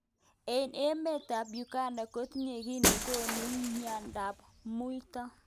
Emet ab Uganda kotinye ki nekonu mnyendo ab muito.